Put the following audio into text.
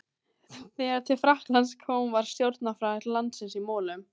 Þegar til Frakklands kom var stjórnarfar landsins í molum.